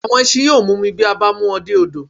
Àwọn ẹsin yóò mumi bí a bá mú wọn dé odò